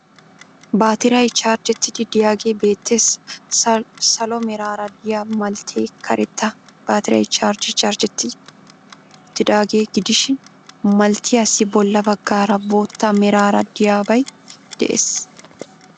Baatiray chargettiiddi de'iyagee beettees. Salo meraara de'iya malttee karetta baatiray charge chargetti uttidaagaa gidishin malttiyassi bolla baggaara bootta meraara de'iyabay de'ees.